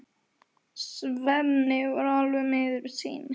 Svenni er alveg miður sín.